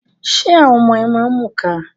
Ṣé àwọn ọmọ ẹ máa ń mù ka?